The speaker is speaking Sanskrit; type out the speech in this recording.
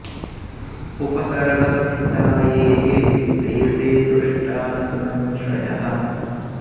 उपसर्गस्थिता ये ये ते ते तुष्टा न संशयः